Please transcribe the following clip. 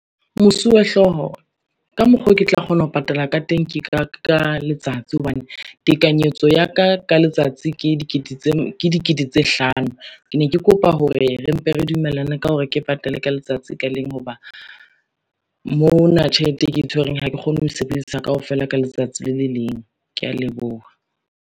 Mosuwe-hlooho, ka mokgo ke tla kgona ho patala ka teng, ke ka letsatsi hobane tekanyetso ya ka ka letsatsi ke dikete tse hlano. Ke ne ke kopa hore re mpe re dumellane ka hore ke patale ka letsatsi ka leng ho ba, mona tjhelete e ke e tshwereng ha ke kgone ho e sebedisa kaofela ka letsatsi le le leng. Kea leboha.